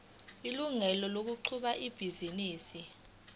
ilungelo lokuqhuba ibhizinisi